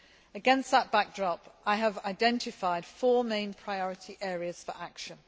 Against that backdrop, I have identified four main priority areas for action.